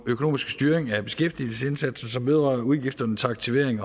økonomiske styring af beskæftigelsesindsatsen som vedrører udgifterne til aktivering